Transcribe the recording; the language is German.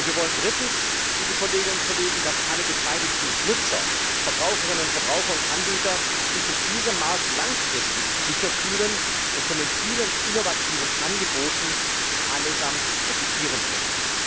Und wir wollen drittens, dass alle beteiligten Nutzer Verbraucherinnen, Verbraucher und Anbieter sich in diesem Markt langfristig sicher fühlen und von den vielen innovativen Angeboten allesamt profitieren können.